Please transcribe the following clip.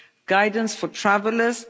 guidance for travellers